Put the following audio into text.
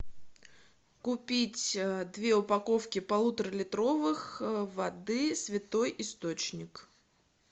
купить две упаковки полуторалитровых воды святой источник